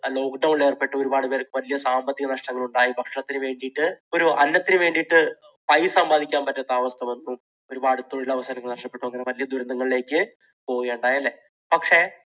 lock down ൽ ഏർപ്പെട്ടു. ഒരുപാട് പേർക്ക് വലിയ സാമ്പത്തിക നഷ്ടങ്ങൾ ഉണ്ടായി. ഭക്ഷണത്തിനു വേണ്ടിയിട്ട് ഒരു അന്നത്തിന് വേണ്ടിയിട്ട് സമ്പാദിക്കാൻ പറ്റാത്ത അവസ്ഥ വന്നു. ഒരുപാട് തൊഴിലവസരങ്ങൾ നഷ്ടപ്പെട്ടു അങ്ങനെ വലിയ ദുരന്തങ്ങളിലേക്ക് പോവുകയുണ്ടായി അല്ലേ പക്ഷേ